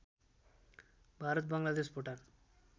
Bharat Bangladesh Bhutan